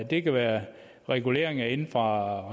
det kan være reguleringer inde fra